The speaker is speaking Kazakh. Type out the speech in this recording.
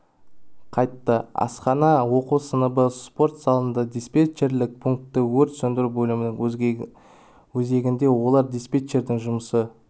қайты асхана оқу сыныбы спорт залында диспетчерлік пункті өрт сөндіру бөлімінің өзегінде олар диспетчердің жұмысы